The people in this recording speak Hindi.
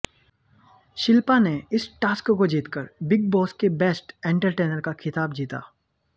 शिल्पा ने इस टास्क को जीतकर बिग बॉस के बेस्ट एंटरटेनर का खिताब जीता